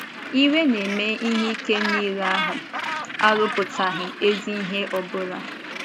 “ Iwe na ime ihe ike nile ahụ, arụpụtaghị ezi ihe ọ bụla ”